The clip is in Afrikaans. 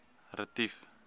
retief